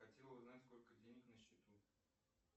хотел узнать сколько денег на счету